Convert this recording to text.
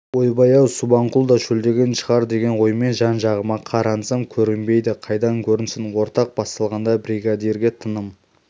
ойбай-ау субанқұл да шөлдеген шығар деген оймен жан-жағыма қарансам көрінбейді қайдан көрінсін орақ басталғанда бригадирге тыным